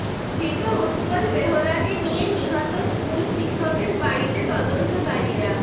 ধৃত উৎপল বেহরাকে নিয়ে নিহত স্কুল শিক্ষকের বাড়িতে তদন্তকারীরা